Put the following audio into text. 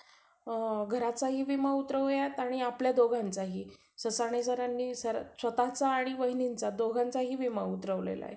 अ घराचाही विमा उतरवूयात आणि आपल्या दोघांचाही ससाणे सरांनी स्वतःचा आणि वहिनींचा दोघांचाही विमा उतरावलेला आहे.